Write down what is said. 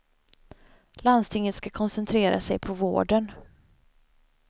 Landstingen ska koncentrera sig på vården.